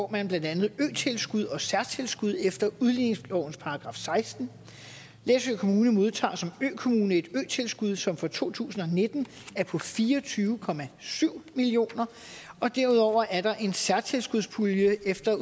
blandt andet øtilskud og særtilskud efter udligningslovens § sekstende læsø kommune modtager som økommune et øtilskud som for to tusind og nitten er på fire og tyve million kr og derudover er der en særtilskudspulje efter